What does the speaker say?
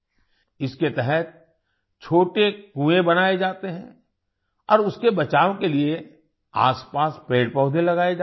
इसके तहत छोटे कुएं बनाए जाते हैं और उसके बचाव के लिए आसपास पेड़पौधे लगाए जाते हैं